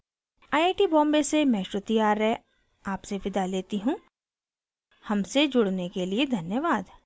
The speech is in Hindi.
आई आई टी बॉम्बे से मैं श्रुति आर्य आपसे विदा लेती हूँ हमसे जुड़ने के लिए धन्यवाद